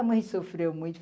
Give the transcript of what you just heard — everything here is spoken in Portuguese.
A mãe sofreu muito.